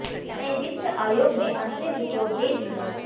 नए वित्त आयोग ने अंतरिम रिपोर्ट दे दी है